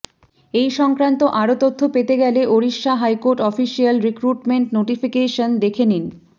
এই সংক্রান্ত আরও তথ্য পেতে গেলে Odisha high court official recruitment notification দেখে নিন